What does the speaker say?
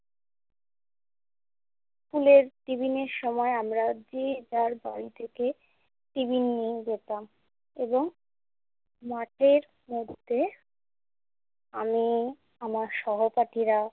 স্কুলের টিফিনের সময় আমরা যে যার বাড়ি থেকে টিফিন নিয়ে যেতাম এবং মাঠের মধ্যে আমি আমার সহপাঠীরা